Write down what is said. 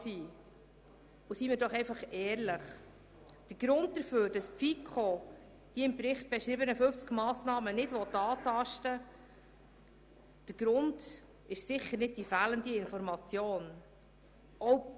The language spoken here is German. Seien wir ehrlich: Der Grund dafür, dass die FiKo die im Bericht beschriebenen 50 Massnahmen nicht berücksichtigen will, liegt sicher nicht darin, dass Informationen fehlen.